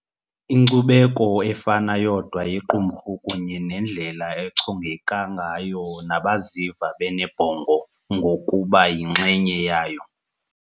2, Inkcubeko efana yodwa yequmrhu kunye nendlela echongeka ngayo nabaziva benebhongo ngokuba yinxenye yayo.